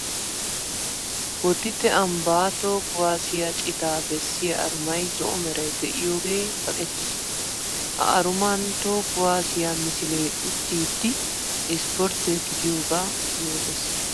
Boditte ambba toho kuwassiya citaa bessiya arumay zo'o meray de'iyooge kaqqettiis. Ha arumani toho kuwassiya misile uttiddi ispportte gidiyooga yootes.